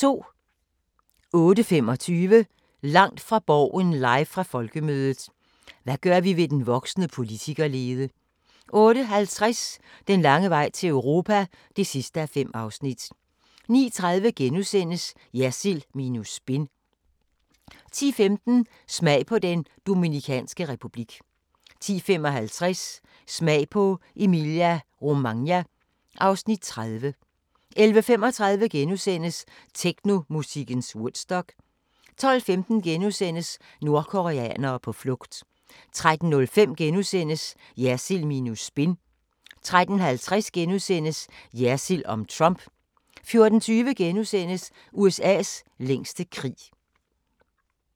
08:25: Langt fra Borgen live fra Folkemødet: Hvad gør vi ved den voksende politikerlede? 08:50: Den lange vej til Europa (5:5) 09:30: Jersild minus spin * 10:15: Smag på Den Dominikanske Republik 10:55: Smag på Emilia-Romagna (Afs. 30) 11:35: Technomusikkens Woodstock * 12:15: Nordkoreanere på flugt * 13:05: Jersild minus spin * 13:50: Jersild om Trump * 14:20: USA's længste krig *